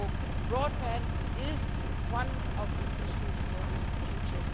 So broadband is one of the issues for the future.